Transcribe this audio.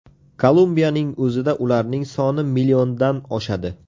Kolumbiyaning o‘zida ularning soni milliondan oshadi.